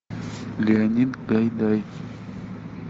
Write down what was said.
леонид гайдай